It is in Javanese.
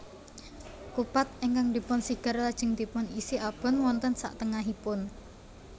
Kupat ingkang dipun sigar lajeng dipun isi abon wonten saktengahipun